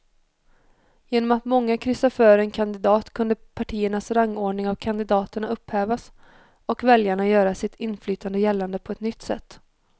Genom att många kryssade för en kandidat kunde partiernas rangordning av kandidaterna upphävas och väljarna göra sitt inflytande gällande på ett nytt sätt.